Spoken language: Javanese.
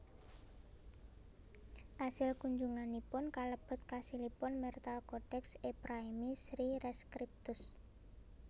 Asil kunjunganipun kalebet kasilipun mertal Codex Ephraemi Syri Rescriptus